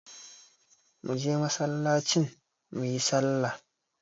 Muje masallacin muyi sallar